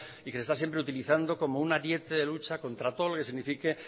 y que se está siempre utilizando como ariete de lucha contra todo lo que signifique